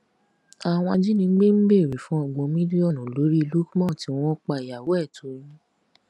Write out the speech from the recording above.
àwọn ajínigbé ń béèrè fún ọgbọn mílíọnù lórí lukman tí wọn pa ìyàwó ẹ toyún